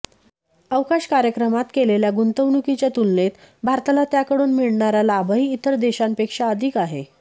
अवकाश कार्यक्रमात केलेल्या गुंतवणुकीच्या तुलनेत भारताला त्याकडून मिळणारा लाभही इतर देशांपेक्षा अधिक आहे